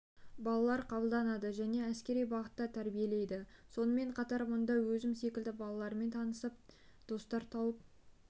балалар қабылданады және әскери бағытта тәрбиелейді сонымен қатар мұнда өзім секілді балалармен танысып достар тауып